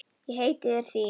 Ég heiti þér því.